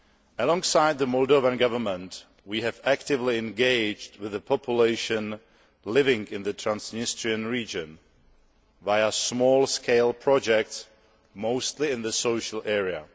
Alongside the Moldovan government, we have actively engaged with the population living in the Transnistrian region via small scale projects, mostly in the social area.